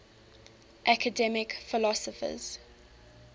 academic philosophers